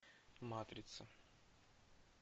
матрица